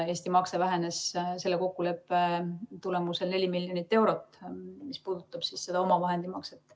Eesti makse vähenes selle kokkuleppe tulemusel 4 miljonit eurot, mis puudutab seda omavahendimakset.